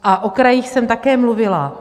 A o krajích jsem také mluvila.